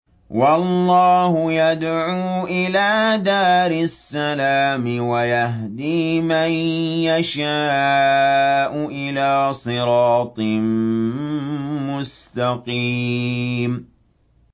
وَاللَّهُ يَدْعُو إِلَىٰ دَارِ السَّلَامِ وَيَهْدِي مَن يَشَاءُ إِلَىٰ صِرَاطٍ مُّسْتَقِيمٍ